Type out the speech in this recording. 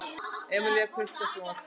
Emelíana, kveiktu á sjónvarpinu.